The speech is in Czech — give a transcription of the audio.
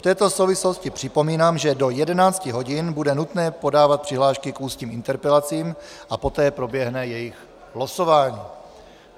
V této souvislosti připomínám, že do 11 hodin bude nutné podávat přihlášky k ústním interpelacím a poté proběhne jejich losování.